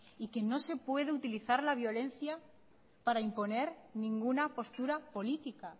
y que no se puede utilizar la violencia para imponer ninguna postura política